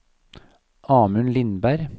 Amund Lindberg